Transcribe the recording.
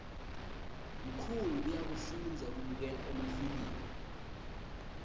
mkhulu uyafoudza kubukela emafilimu